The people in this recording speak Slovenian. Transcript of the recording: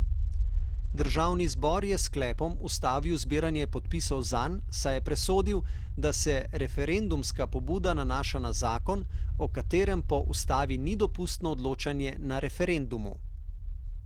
Državni zbor je s sklepom ustavil zbiranje podpisov zanj, saj je presodil, da se referendumska pobuda nanaša na zakon, o katerem po ustavi ni dopustno odločanje na referendumu.